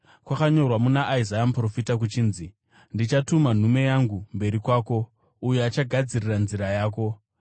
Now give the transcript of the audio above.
Kwakanyorwa muna Isaya muprofita kuchinzi: “Ndichatuma nhume yangu mberi kwako, uyo achagadzira nzira yako,”